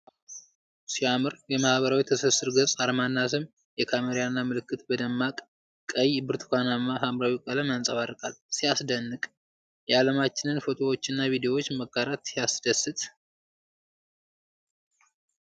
ዋው! ሲያምር! የማኅበራዊ ትስስር ገጽ አርማና ስም ። የካሜራ ምልክት በደማቅ ቀይ፣ ብርቱካናማና ሐምራዊ ቀለም ያንጸባርቃል። ሲያስደንቅ! የዓለማችንን ፎቶዎችና ቪዲዮዎች መጋራት ሲያስደስት!